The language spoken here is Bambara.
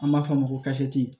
An b'a fɔ a ma ko